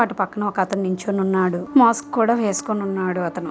అటు పక్కన ఒకతను నించొనున్నాడు మాస్క్ కూడా వేస్కొనున్నాడు అతను.